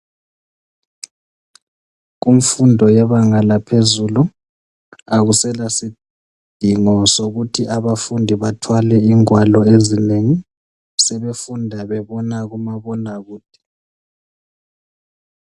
Kumfundo yebenga laphezulu akusela sindingo sokuthi abafundi bathwale igwalo ezinengi sebefunda bebona kumabona kude.